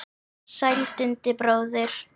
Sæll Dundi bróðir!